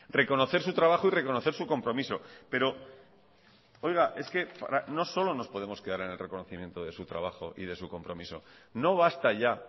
reconocer su trabajo y reconocer su compromiso pero es que no solo nos podemos quedar en el reconocimiento de su trabajo y de su compromiso no basta ya